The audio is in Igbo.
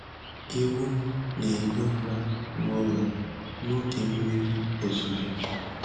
Ewu na-ehi ụra n'ụlọ n'oge mmiri ozuzo.